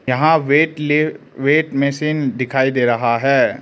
यहां वेटलिव weight machine दिखाई दे रहा है।